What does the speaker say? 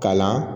Kalan